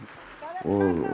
og